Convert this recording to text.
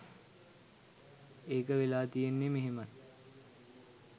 ඒක වෙලා තියෙන්නෙ මෙහෙමයි.